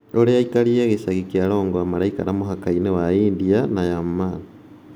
ũrĩa aikari a gĩcagi kĩa Longwa maraikara mũhaka-inĩ wa India na Myanmar.